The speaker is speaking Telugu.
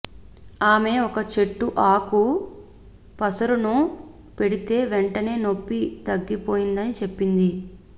ఆమె ఒక చెట్టు ఆకు పసురును పెడితే వెంటనే నొప్పి తగ్గిపోతుందని చెప్పింది